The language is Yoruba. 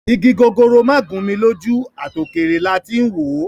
Igi gogoro má gún mi lójú, à tò kèrè la tí ń wò ó